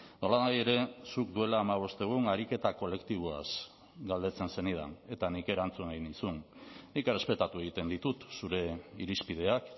nolanahi ere zuk duela hamabost egun ariketa kolektiboaz galdetzen zenidan eta nik erantzun egin nizun nik errespetatu egiten ditut zure irizpideak